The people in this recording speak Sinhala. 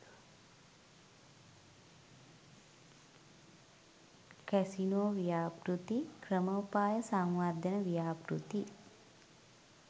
කැසිනෝ ව්‍යාපෘති ක්‍රමෝපාය සංවර්ධන ව්‍යාපෘති